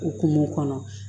O kumu kɔnɔ